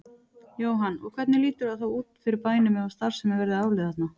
Jóhann: Og hvernig lítur það þá út fyrir bænum ef að starfsemin verði aflögð þarna?